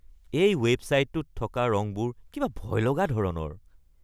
এই ৱেবছাইটটোত থকা ৰঙবোৰ কিবা ভয়লগা ধৰণৰ।